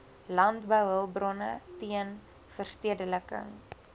landbouhulpbronne teen verstedeliking